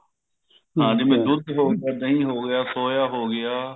ਹਾਂਜੀ ਜਿਵੇਂ ਦੁੱਧ ਹੋ ਗਿਆ ਦਹੀਂ ਹੋ ਗਿਆ soya ਹੋ ਗਿਆ